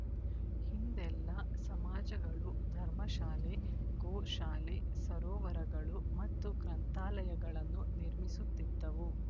ಹಿಂದೆಲ್ಲಾ ಸಮಾಜಗಳು ಧರ್ಮ ಶಾಲೆ ಗೋ ಶಾಲೆ ಸರೋವರಗಳು ಮತ್ತು ಗ್ರಂಥಾಲಯಗಳನ್ನು ನಿರ್ಮಿಸುತ್ತಿದ್ದವು